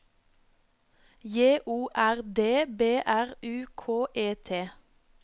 J O R D B R U K E T